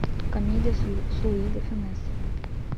комедия с луи де фюнес